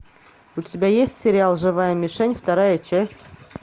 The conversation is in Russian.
у тебя есть сериал живая мишень вторая часть